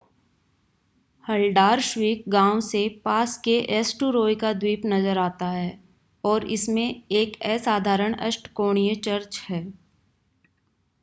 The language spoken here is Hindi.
हलडारश्वीक गांव से पास के एस्टूरॉय का द्वीप नज़र आता है और इसमें एक असाधारण अष्टकोणीय चर्च है